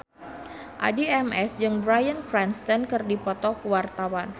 Addie MS jeung Bryan Cranston keur dipoto ku wartawan